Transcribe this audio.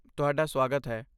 ਤੁਹਾਡਾ ਸਵਾਗਤ ਹੈ।